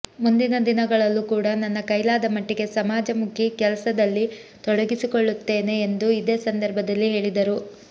ಮುಂದಿನ ದಿನಗಳಲ್ಲೂ ಕೂಡ ನನ್ನ ಕೈಲಾದ ಮಟ್ಟಿಗೆ ಸಮಾಜಮುಖಿ ಕೆಲಸದಲ್ಲಿ ತೊಡಗಿಸಿಕೊಳ್ಳುತ್ತೇನೆ ಎಂದು ಇದೇ ಸಂದರ್ಭದಲ್ಲಿ ಹೇಳಿದರು